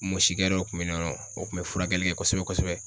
Mɔsikɛ dɔ tun bɛ nɔn o kun bɛ furakɛli kɛ kosɛbɛ kosɛbɛ